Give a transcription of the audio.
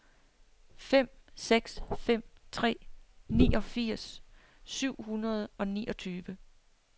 fem seks fem tre niogfirs syv hundrede og niogtyve